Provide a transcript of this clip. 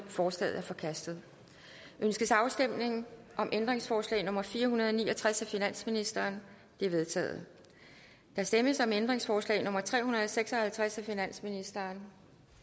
forslaget er forkastet ønskes afstemning om ændringsforslag nummer fire hundrede og ni og tres af finansministeren det er vedtaget der stemmes om ændringsforslag nummer tre hundrede og seks og halvtreds af finansministeren